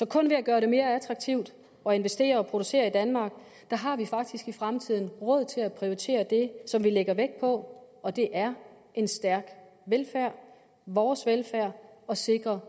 kun ved at gøre det mere attraktivt at investere og producere i danmark i fremtiden råd til at prioritere det som vi lægger vægt på og det er en stærk velfærd vores velfærd og sikring